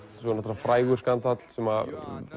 frægur skandall sem